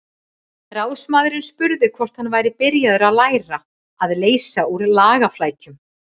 Ráðsmaðurinn spurði hvort hann væri byrjaður að læra að leysa úr lagaflækjum.